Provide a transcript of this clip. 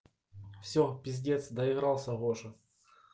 все пиздец доигрался гоша